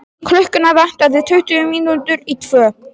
Klukkuna vantaði tuttugu mínútur í tvö.